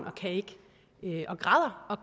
og